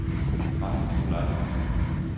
Max Nikolajsen